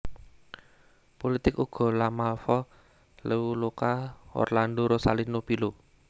Pulitik Ugo La Malfa Leoluca Orlando Rosalino Pilo